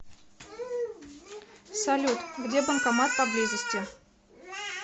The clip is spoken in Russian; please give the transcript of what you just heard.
салют где банкомат поблизости